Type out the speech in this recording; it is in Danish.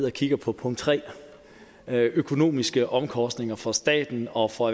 og kigger på punkt tre økonomiske omkostninger for staten og for